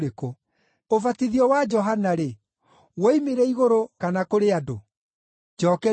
Ũbatithio wa Johana-rĩ, woimire igũrũ kana kũrĩ andũ? Njookeriai!”